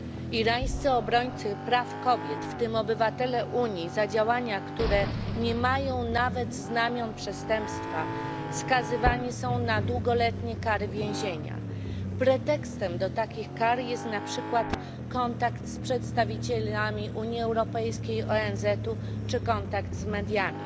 Irańscy obrońcy praw kobiet, w tym obywatele Unii, za działania, które nie mają nawet znamion przestępstwa, skazywani są na długoletnie kary więzienia. Pretekstem do takich kar jest na przykład kontakt z przedstawicielami Unii Europejskiej, ONZ czy kontakt z mediami.